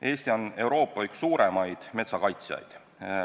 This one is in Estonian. Eesti on üks Euroopa suurimaid metsakaitsjaid.